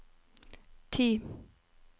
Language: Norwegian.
ti